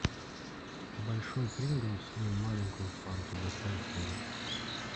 большой принглс и маленькую фанту доставить ко мне